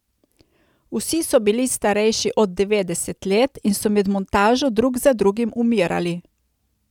Vsi so bili starejši od devetdeset let in so med montažo drug za drugim umirali.